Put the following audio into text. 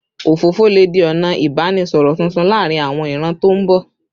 Òfófó lè di ọ̀nà ìbánisọ̀rọ̀ tuntun láàárín àwọn ìran tó ń bọ̀